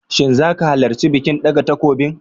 Shin zaka halarci bikin ɗaga takobin?